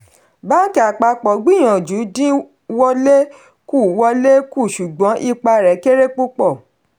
bánkì àpapọ̀ gbìyànjú dín wọlé kù wọlé kù ṣùgbọ́n ipa rẹ̀ kéré púpọ̀.